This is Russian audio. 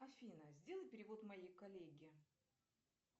афина сделай перевод моей коллеге